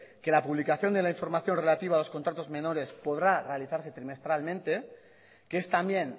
que la publicación de la información relativa a los contratos menores podrá realizarse trimestralmente que es también